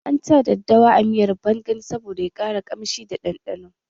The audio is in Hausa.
An sa daddawa a miyar bangan saboda ya ƙara kamshi da ɗanɗano